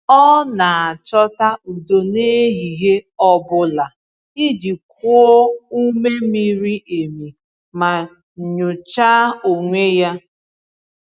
Ọ na-achọta udo n’ehihie ọ bụla iji kuo ume miri emi ma nyochaa onwe ya.